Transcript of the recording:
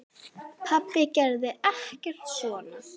Pabbi gerði ekkert svona.